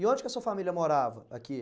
E onde que a sua família morava aqui?